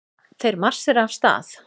Þeir marsera af stað.